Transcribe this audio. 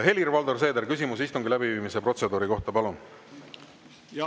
Helir-Valdor Seeder, küsimus istungi läbiviimise protseduuri kohta, palun!